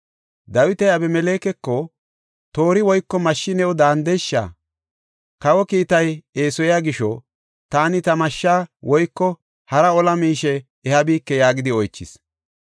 Dawiti Abimelekeko, “Toori woyko mashshi new dandeesha? Kawa kiitay eesoya gisho taani ta mashshaa woyko hara ola miishe ehabike” yaagidi oychis.